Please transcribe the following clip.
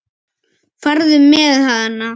Farðu með hana.